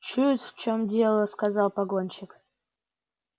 чует в чем дело сказал погонщик